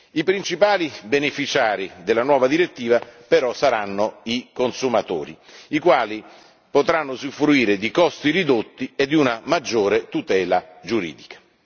I principali beneficiari della nuova direttiva però saranno i consumatori, i quali potranno usufruire di costi ridotti e di una maggiore tutela giuridica.